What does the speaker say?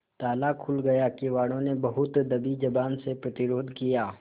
ताला खुल गया किवाड़ो ने बहुत दबी जबान से प्रतिरोध किया